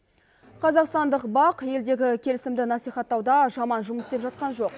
қазақстандық бақ елдегі келісімді насихаттауда жаман жұмыс істеп жатқан жоқ